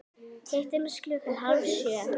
Hittumst klukkan hálf sjö.